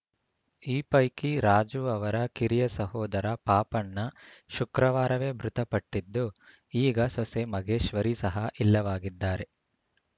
ಈ ಪೈಕಿ ರಾಜು ಅವರ ಕಿರಿಯ ಸಹೋದರ ಪಾಪಣ್ಣ ಶುಕ್ರವಾರವೇ ಮೃತಪಟ್ಟಿದ್ದು ಈಗ ಸೊಸೆ ಮಗೇಶ್ವರಿ ಸಹ ಇಲ್ಲವಾಗಿದ್ದಾರೆ